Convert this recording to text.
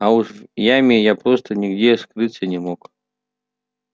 а уж в яме я просто нигде скрыться не мог